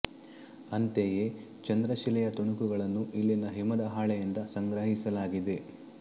ಅಂತೆಯೇ ಚಂದ್ರ ಶಿಲೆಯ ತುಣುಕುಗಳನ್ನೂ ಇಲ್ಲಿನ ಹಿಮದ ಹಾಳೆಯಿಂದ ಸಂಗ್ರಹಿಸಲಾಗಿದೆ